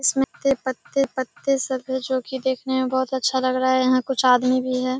इसमे अत्ते पत्ते-पत्ते सब हैं जो कि सब देखने में अच्‍छा लग रहा है। यहाँ कुछ आदमी भी है।